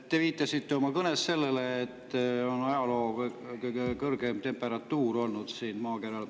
Te viitasite oma kõnes sellele, et oli ajaloo kõige kõrgem temperatuur siin maakeral.